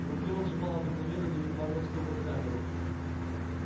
в руке он сжимал обыкновенную на вид магловскую фотокамеру